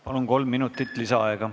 Palun, kolm minutit lisaaega!